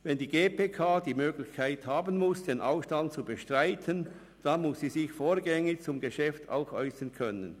«Wenn die GPK die Möglichkeit haben muss, den Ausstand zu bestreiten, dann muss sie sich vorgängig zum Geschäft auch äussern können.